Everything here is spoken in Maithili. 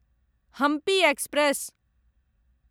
हम्पी एक्सप्रेस